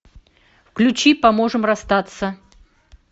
включи поможем расстаться